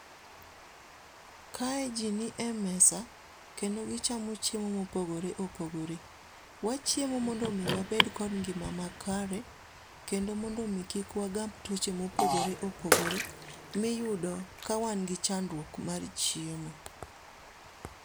Kae ji ni e mesa kendo gichamo chiemo mopogore opogore. wachiemo mondo omi wabed kod ngima makare kendo mondo omi kik wagam tuoche mopogore opogore miyudo ka wan gi chandruok mar chiemo.